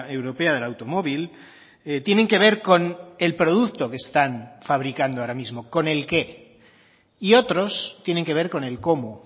europea del automóvil tienen que ver con el producto que están fabricando ahora mismo con el qué y otros tienen que ver con el cómo